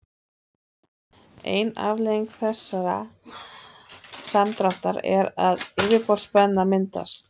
ein afleiðing þessa samdráttar er að yfirborðsspenna myndast